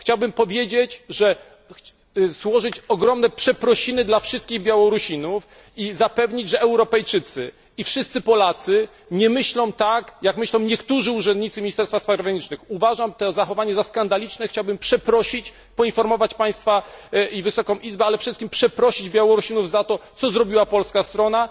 Chciałbym złożyć ogromne przeprosiny dla wszystkich Białorusinów i zapewnić, że Europejczycy i wszyscy Polacy nie myślą tak, jak myślą niektórzy urzędnicy Ministerstwa Spraw Zagranicznych. Uważam to zachowanie za skandaliczne, chciałbym przeprosić, poinformować Państwa i Wysoką Izbę, ale przede wszystkim przeprosić Białorusinów za to, co zrobiła polska strona.